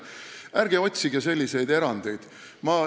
Ärge otsige selliseid erandeid!